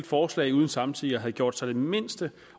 forslag uden samtidig at have gjort sig den mindste